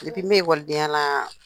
bɛ la,